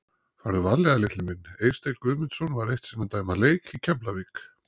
Farðu varlega litli minn Eysteinn Guðmundsson var eitt sinn að dæma leik í Keflavík.